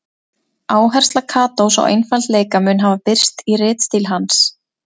Áhersla Katós á einfaldleika mun hafa birst í ritstíl hans.